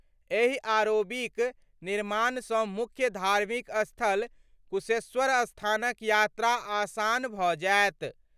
एहि आरओबीक निर्माणसँ मुख्य धार्मिक स्थल कुशेश्वरस्थानक यात्रा आसान भऽ जायत।